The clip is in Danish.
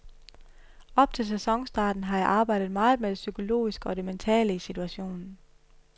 Op til sæsonstarten har jeg arbejdet meget med det psykologiske og det mentale i situationen.